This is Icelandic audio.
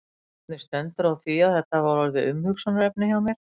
Hvernig stendur á því að þetta hafa orðið umhugsunarefni hjá mér?